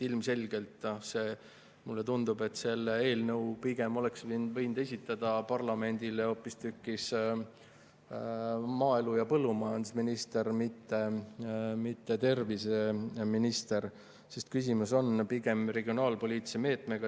Ilmselgelt, mulle tundub, oleks selle eelnõu võinud esitada parlamendile hoopistükkis maaelu‑ või põllumajandusminister, mitte terviseminister, sest küsimus on pigem regionaalpoliitilises meetmes.